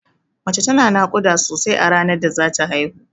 Mace tana naƙuda sosai a ranar da zata haihu.